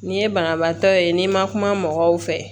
N'i ye banabaatɔ ye n'i ma kuma mɔgɔw fɛ